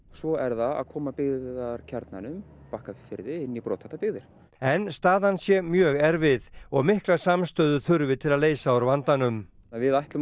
svo er það að koma byggðarkjarnanum Bakkafirði inn í brothættar byggðir en staðan sé mjög erfið og mikla samstöðu þurfi til að leysa úr vandanum við ætlum